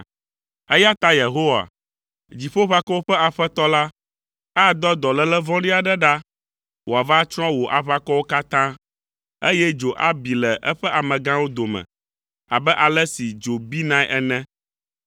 Eya ta Yehowa, Dziƒoʋakɔwo ƒe Aƒetɔ la, adɔ dɔléle vɔ̃ɖi aɖe ɖa wòava atsrɔ̃ wò aʋakɔwo katã, eye dzo abi le eƒe amegãwo dome abe ale si dzo binae ene.